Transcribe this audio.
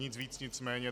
Nic víc, nic méně.